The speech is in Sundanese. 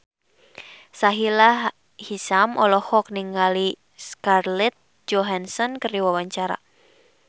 Sahila Hisyam olohok ningali Scarlett Johansson keur diwawancara